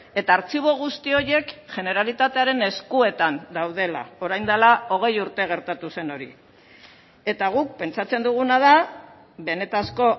eta artxibo guzti horiek generalitatearen eskuetan daudela orain dela hogei urte gertatu zen hori eta guk pentsatzen duguna da benetako